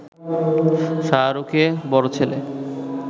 শাহরুখে বড় ছেলে